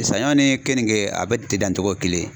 Saɲɔn ni kenike a bɛɛ tɛ dan togo ye kelen ye.